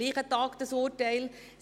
Dieses Urteil ist vom gleichen Tag.